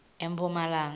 emphumalanga